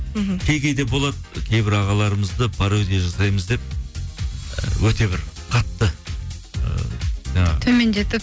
мхм кей кейде болады кейбір ағаларымызды пародия жасаймыз деп ы өте бір қатты ы жаңағы төмендетіп